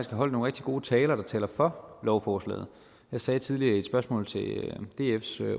holdt nogle rigtig gode taler og som taler for lovforslaget jeg sagde tidligere i et spørgsmål til dfs